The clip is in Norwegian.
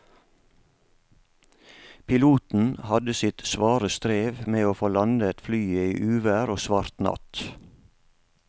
Piloten hadde sitt svare strev med å få landet flyet i uvær og svart natt.